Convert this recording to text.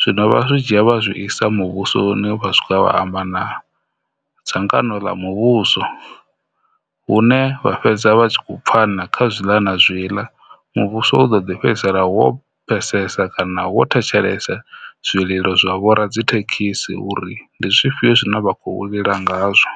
zwino vha zwi dzhia vha zwi isa muvhusoni vha swika vha amba na dzangano ḽa muvhuso hune vha fhedza vha tshi kho pfhana kha zwiḽa na zwiḽa muvhuso u ḓo ḓi fhedzisela wo pfhesesa kana wo thetshelesa zwililo zwa vho radzithekhisi uri ndi zwifhio zwine vha khou lila ngazwo.